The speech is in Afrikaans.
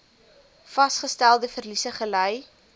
vasgestelde verliese gely